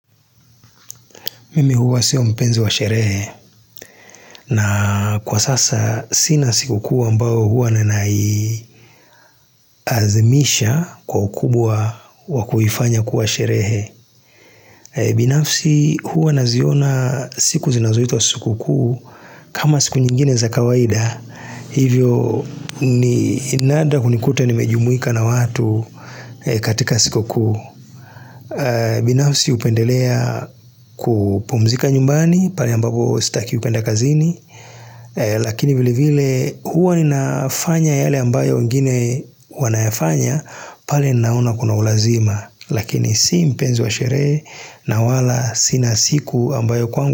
Mimi huwa sio mpenzi wa sherehe na kwa sasa sina sikukuu ambayo huwa ninaiazimisha kwa ukubwa wa kuifanya kuwa sherehe. Binafsi huwa naziona siku zinazoitwa sikukuu kama siku nyingine za kawaida. Hivyo ni nadra kunikuta nimejumuika na watu katika sikukuu binafsi hupendelea kupumzika nyumbani pale ambapo sitaki kuenda kazini. Lakini vile vile huwa ninafanya yale ambayo wengine wanayafanya pale naona kuna ulazima Lakini si mpenzi wa sherehe na wala sina siku ambayo kwangu.